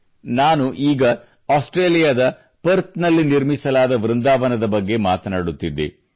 ಈಗ ನಾನು ಆಸ್ಟ್ರೇಲಿಯಾದ ಪರ್ಥ್ ನಲ್ಲಿ ನಿರ್ಮಿಸಲಾದ ವೃಂದಾವನದ ಬಗ್ಗೆ ಮಾತನಾಡುತ್ತಿದ್ದೆ